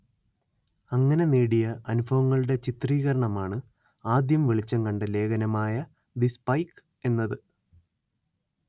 അങ്ങനെ നേടിയ അനുഭവങ്ങളുടെ ചിത്രീകരണമാണ് ആദ്യം വെളിച്ചം കണ്ട ലേഖനമായ ദി സ്പൈക്ക് എന്നത്